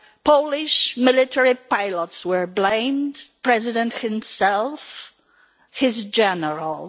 Polish military pilots were blamed, the President himself, his generals.